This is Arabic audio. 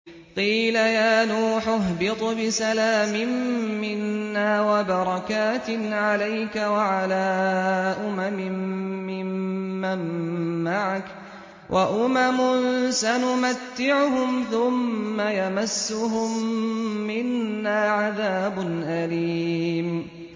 قِيلَ يَا نُوحُ اهْبِطْ بِسَلَامٍ مِّنَّا وَبَرَكَاتٍ عَلَيْكَ وَعَلَىٰ أُمَمٍ مِّمَّن مَّعَكَ ۚ وَأُمَمٌ سَنُمَتِّعُهُمْ ثُمَّ يَمَسُّهُم مِّنَّا عَذَابٌ أَلِيمٌ